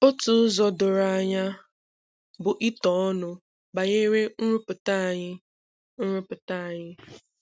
Otu ụzọ doro anya bụ ito ọnụ banyere nrụpụta anyi. nrụpụta anyi.